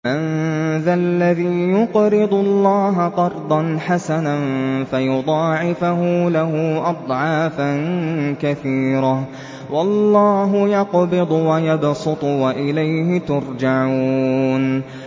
مَّن ذَا الَّذِي يُقْرِضُ اللَّهَ قَرْضًا حَسَنًا فَيُضَاعِفَهُ لَهُ أَضْعَافًا كَثِيرَةً ۚ وَاللَّهُ يَقْبِضُ وَيَبْسُطُ وَإِلَيْهِ تُرْجَعُونَ